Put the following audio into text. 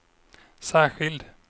särskild